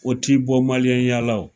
O t'i bɔ maliyɛn ya la wo.